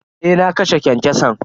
Eh na kashe kyankyason.